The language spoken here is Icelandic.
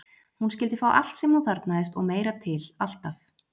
Hún skyldi fá allt sem hún þarfnaðist og meira til, alltaf.